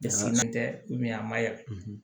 Dɛsɛlen tɛ a ma yan